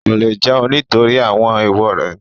Kò lè jẹun nítorí àwọn ééwo rẹ̀